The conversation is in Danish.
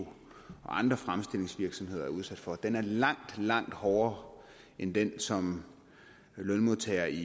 andre fremstillingsvirksomheder er udsat for den er langt langt hårdere end den som lønmodtagere i